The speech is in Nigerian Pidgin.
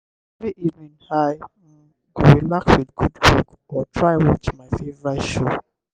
every evening i um go relax with good book or try watch my favorite show.